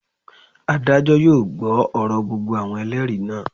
Adájọ́ yóò gbọ́ ọ̀rọ̀ gbogbo àwọn Ẹlẹ́rìí náà.